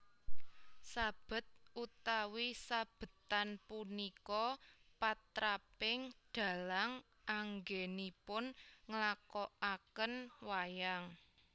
Sabet utawi sabetan punika patraping dhalang anggènipun nglakokaken wayang